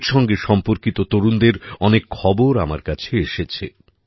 এর সঙ্গে সম্পর্কিত তরুণদের অনেক খবর আমার কাছে এসেছে